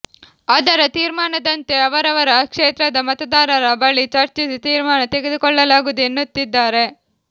ಅದರ ತೀರ್ಮಾನದಂತೆ ಅವರವರ ಕ್ಷೇತ್ರದ ಮತದಾರರ ಬಳಿ ಚರ್ಚಿಸಿ ತೀರ್ಮಾನ ತೆಗೆದುಕೊಳ್ಳಲಾಗುವುದು ಎನ್ನುತ್ತಿದ್ದಾರೆ